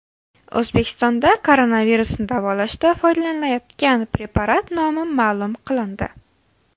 O‘zbekistonda koronavirusni davolashda foydalanilayotgan preparat nomi ma’lum qilindi.